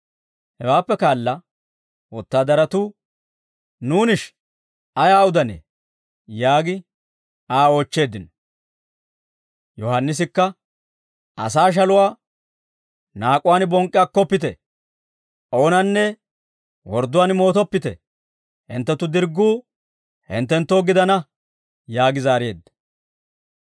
Hewaappe kaala wotaadaratuu, «Nuunishi, ayaa udanee?» yaagi Aa oochcheeddino. Yohaannisikka, «Asaa shaluwaa naak'uwaan bonk'k'i akkoppite, oonanne wordduwaan mootoppite, hinttenttu dirgguu hinttenttoo gidana» yaagi zaareedda.